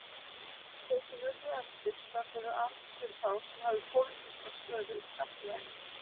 Þeir sem urðu eftir störfuðu aðeins fyrir þá sem höfðu pólitíska stöðu í samfélaginu.